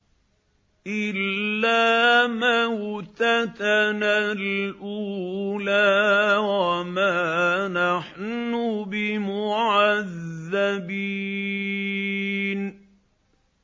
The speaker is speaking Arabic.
إِلَّا مَوْتَتَنَا الْأُولَىٰ وَمَا نَحْنُ بِمُعَذَّبِينَ